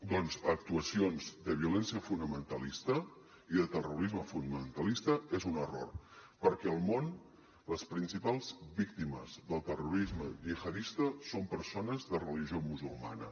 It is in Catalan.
doncs a actuacions de violència fonamentalista i de terrorisme fonamentalista és un error perquè al món les principals víctimes del terrorisme gihadista són persones de religió musulmana